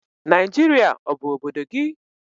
Naijiria ọ bụ obodo gị?